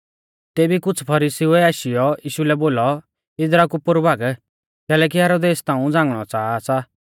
तेबी कुछ़ फरीसीउऐ आशीयौ यीशु लै बोलौ इदरा कु पोरु भाग कैलैकि हेरोदेस ताऊं झ़ागणौ च़ाहा सा